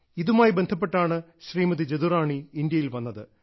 ഇതുമായി ബന്ധപ്പെട്ടാണ് ശ്രീമതി ജദുറാണി ഇന്ത്യയിൽ വന്നത്